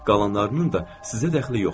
Qalanlarının da sizə dəxli yoxdur.